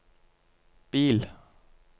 bil